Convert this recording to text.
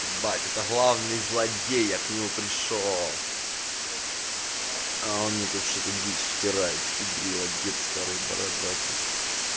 ебать это главный злодей я к нему пришёл а он мне тут что-то дичь впирает пидрила дед старый бородатый